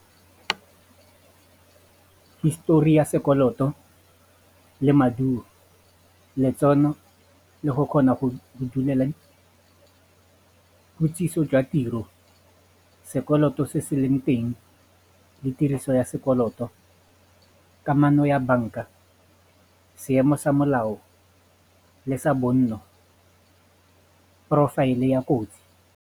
Hisetori ya sekoloto le maduo, letseno le go kgona go di dulele jwa tiro sekoloto se se leng teng le tiriso ya sekoloto kamano ya banka seemo sa molao le sa bonno porofaele ya kotsi.